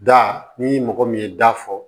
Da ni mɔgɔ min ye da fɔ